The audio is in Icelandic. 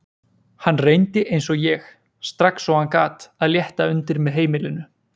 Hann reyndi eins og ég, strax og hann gat, að létta undir með heimilinu.